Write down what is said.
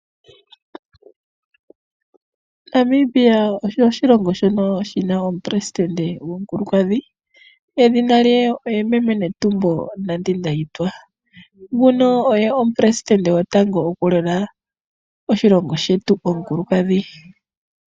Namibia osho oshilongo shono shi na omupelesitende omukulunkadhi edhina lye oye meme Netumbo Nandi Ndaitwa, nguno oye omupelesitende gotango okulela oshilongo shetu, omukulukadhi.